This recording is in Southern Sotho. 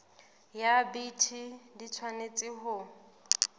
ya bt di tshwanetse ho